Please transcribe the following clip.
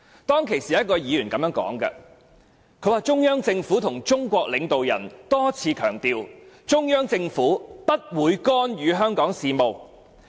當時有一位議員這樣說："中央政府和中國領導人多次強調，中央政府不會干預香港事務。